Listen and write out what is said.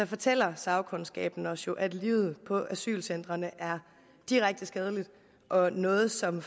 fortæller sagkundskaben os jo at livet på asylcentrene er direkte skadeligt og noget som